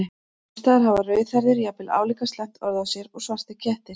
Sums staðar hafa rauðhærðir jafnvel álíka slæmt orð á sér og svartir kettir.